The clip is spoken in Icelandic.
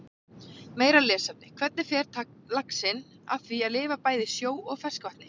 Meira lesefni: Hvernig fer laxinn að því að lifa bæði í sjó og ferskvatni?